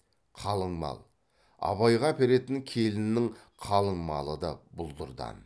қалыңмал абайға әперетін келіннің қалыңмалы да бұлдырдан